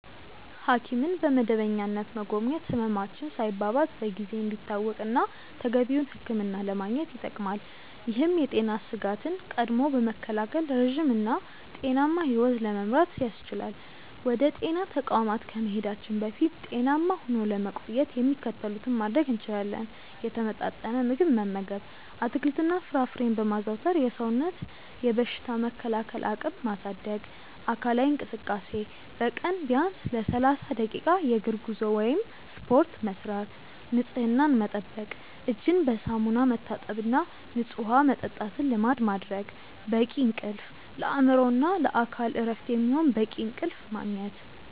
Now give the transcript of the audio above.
ሐኪምን በመደበኛነት መጎብኘት ህመማችን ሳይባባስ በጊዜ እንዲታወቅና ተገቢውን ሕክምና ለማግኘት ይጠቅማል። ይህም የጤና ስጋትን ቀድሞ በመከላከል ረጅም እና ጤናማ ሕይወት ለመምራት ያስችላል። ወደ ጤና ተቋማት ከመሄዳችን በፊት ጤናማ ሆኖ ለመቆየት የሚከተሉትን ማድረግ እንችላለን፦ የተመጣጠነ ምግብ መመገብ፦ አትክልትና ፍራፍሬን በማዘውተር የሰውነትን በሽታ የመከላከል አቅም ማሳደግ። አካላዊ እንቅስቃሴ፦ በቀን ቢያንስ ለ30 ደቂቃ የእግር ጉዞ ወይም ስፖርት መስራት። ንፅህናን መጠበቅ፦ እጅን በሳሙና መታጠብና ንፁህ ውሃ መጠጣትን ልማድ ማድረግ። በቂ እንቅልፍ፦ ለአእምሮና ለአካል እረፍት የሚሆን በቂ እንቅልፍ ማግኘት።